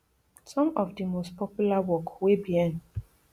some of di most popular work wey bien